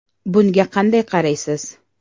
Bunga qanday qaraysiz?